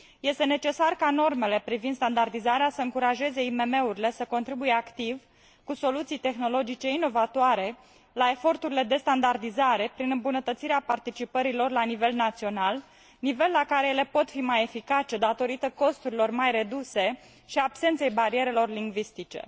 Este necesar ca normele privind standardizarea să încurajeze IMM urile să contribuie activ, cu soluții tehnologice inovatoare, la eforturile de standardizare, prin îmbunătățirea participării lor la nivel național, nivel la care ele pot fi mai eficace, datorită costurilor mai reduse și absenței barierelor lingvistice.